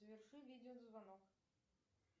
заверши видеозвонок